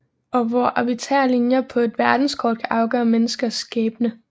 Og hvor arbitrære linjer på et verdenskort kan afgøre menneskers skæbne